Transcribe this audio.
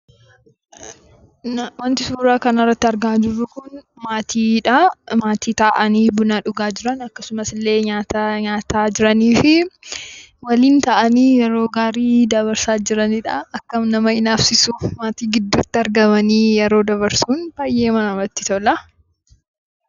Waanti suura kana irratti argaa jirru Kun, maatiidha. Maatii taa'anii buna dhugaa jiran akkasumas illee nyaata nyaataa jiranii fi waliin taa'anii yeroo gaarii dabarsaa jiranidhaa, akkam nama inaafsisuu maatii gidduutti argamanii yeroo dabarsuun baayyeedhuma namatti tola.